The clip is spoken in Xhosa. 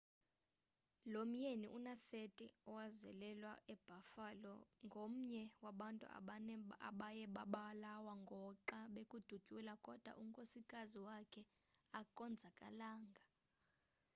lo myeni una-30 owazalelwa ebuffalo ngomnye wabantu abane abaye babulawo ngoxa bekudutyulwa kodwa unkosikazi wakhe akonzakalanga